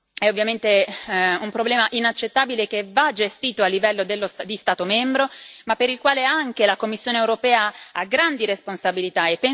È ovviamente un problema inaccettabile, che va gestito a livello di Stato membro, ma per il quale anche la Commissione europea ha grandi responsabilità.